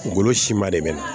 Golo siman de bɛ na